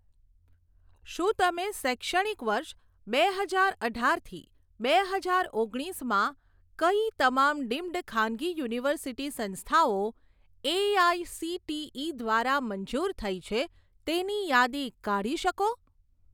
શું તમે શૈક્ષણિક વર્ષ બે હજાર અઢાર થી બે હજાર ઓગણીસમાં કઈ તમામ ડીમ્ડ ખાનગી યુનિવર્સિટી સંસ્થાઓ એઆઇસીટીઇ દ્વારા મંજૂર થઇ છે તેની યાદી કાઢી શકો?